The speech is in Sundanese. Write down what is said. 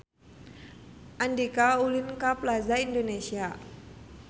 Andika ulin ka Plaza Indonesia